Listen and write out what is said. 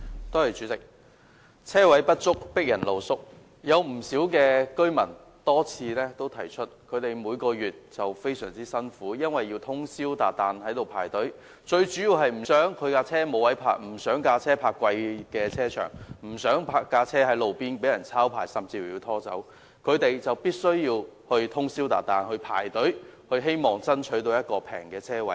代理主席，"車位不足，迫人露宿"，有不少居民多次提出，他們每月非常辛苦，因為要通宵達旦排隊，最主要是不想其車輛沒有可停泊的位置、不想車輛停泊在收費高昂的停車場，以及不想車輛停泊在路邊被抄牌甚至拖走，他們因而必須通宵達旦排隊，希望能爭取一個便宜的車位。